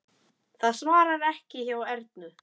Það svarar ekki hjá Ernu.